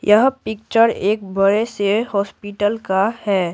यह पिक्चर एक बड़े से हॉस्पिटल का है।